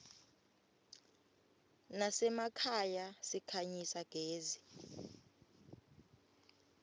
nasemakhaya sikhanyisa gezi